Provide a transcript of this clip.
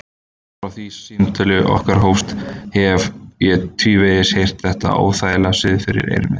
Frá því samtöl okkar hófust hef ég tvívegis heyrt þetta óþægilega suð fyrir eyrum mér.